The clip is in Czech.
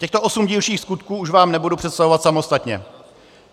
Těchto osm dílčích skutků už vám nebudu představovat samostatně.